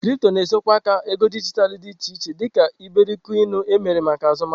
Kripto na-ezo aka na ego dijitalụ dị iche iche dị ka iberikoinu, emere maka azụmahịa.